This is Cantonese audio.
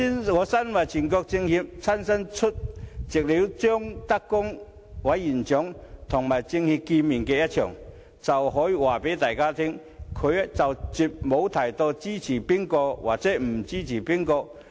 我身為全國政協委員，親身出席了張德江委員長與政協會面的會議，我可以告訴大家，他絕無提及支持誰或不支持誰。